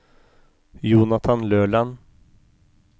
Jonathan Løland